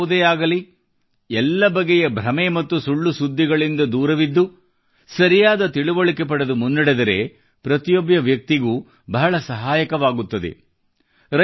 ಕ್ಷೇತ್ರ ಯಾವುದೇ ಆಗಲಿ ಎಲ್ಲ ಬಗೆಯ ಭ್ರಮೆ ಮತ್ತು ಸುಳ್ಳು ಸುದ್ದಿಗಳಿಂದ ದೂರವಿದ್ದು ಸರಿಯಾದ ತಿಳುವಳಿಕೆ ಪಡೆದು ಮುನ್ನಡೆದರೆ ಪ್ರತಿಯೊಬ್ಬ ವ್ಯಕ್ತಿಗೆ ಬಹಳ ಸಹಾಯಕವಾಗುತ್ತದೆ